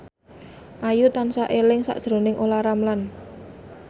Ayu tansah eling sakjroning Olla Ramlan